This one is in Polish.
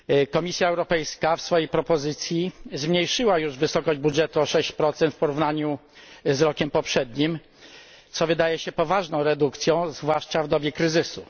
Komisja Europejska w swojej propozycji zmniejszyła już wysokość budżetu o 6 w porównaniu z rokiem poprzednim, co wydaje się poważną redukcją, zwłaszcza w dobie kryzysu.